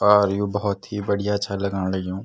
और यु भोत ही बढ़िया छा लगन लग्युं।